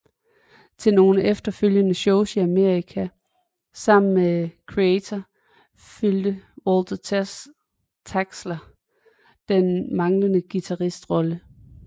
Til nogle efterfølgende shows i Amerika sammen med Kreator udfyldte Walter Trachsler den manglende guitarist rolle